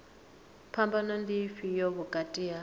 phambano ndi ifhio vhukati ha